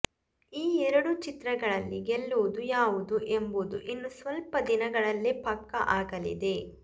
ಈ ಎರಡು ಚಿತ್ರಗಳಲ್ಲಿ ಗೆಲ್ಲುವುದು ಯಾವುದು ಎಂಬುದು ಇನ್ನು ಸ್ವಲ್ಪ ದಿನಗಳಲಲ್ಲೇ ಪಕ್ಕಾ ಆಗಲಿದೆ